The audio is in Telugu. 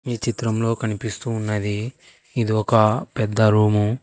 ఈ చిత్రంలో కనిపిస్తూ ఉన్నది ఇది ఒక పెద్ద రూము.